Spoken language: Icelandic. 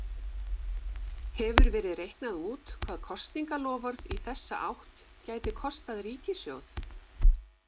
Hefur verið reiknað út hvað kosningaloforð í þessa átt gæti kostað ríkissjóð?